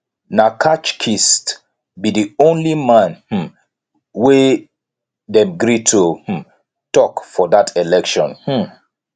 na catch kist be di only man um wey them gree to um talk for that election um